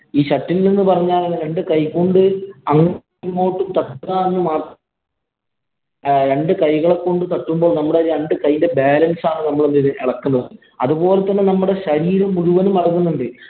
ഈ shuttle എന്ന് പറഞ്ഞാല്‍ രണ്ടു കൈ കൊണ്ട് തട്ടുക എന്ന് മാത്ര രണ്ടു കൈകളെ കൊണ്ട് തട്ടുമ്പോള്‍ നമ്മടെ രണ്ടു കൈയിന്‍റെ balance ആണ് നമ്മള് ഇളക്കുന്നത്. അതുപോലെ തന്നെ നമ്മുടെ ശരീരം മുഴുവനും ഇളകുന്നുണ്ട്.